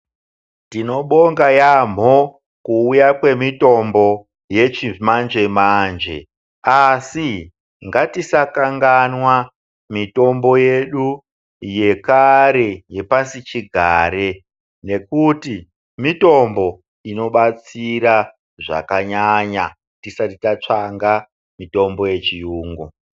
Tinobonga yaambo kuuya kwemitombo yechimanje manje asi ngatisakanganwa mitombo yedu yekare yepasichigare nekuti mitombo inobatsira zvakanyanya tisati tatsvaka mitombo yechiyungu.